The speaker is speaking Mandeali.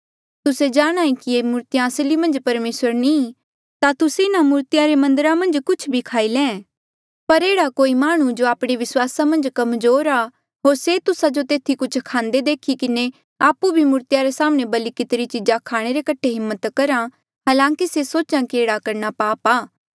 तुस्से ता जाणांहे कि ये मूर्तिया असली मन्झ परमेसर नी ता तुस्से इन्हा मूर्तिया रे मन्दरा मन्झ कुछ भी खाई ले पर एह्ड़ा कोई माह्णुं जो आपणे विस्वासा मन्झ कमजोर आ होर से तुस्सा जो तेथी कुछ खांदे देखी किन्हें आपु भी मूर्तिया रे साम्हणें बलि कितिरी चीजा खाणे रे कठे हिम्मत करहा हलांकि से सोच्हा कि एह्ड़ा करणा पाप आ